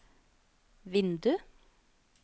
vindu